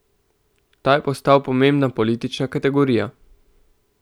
Ta je postal pomembna politična kategorija.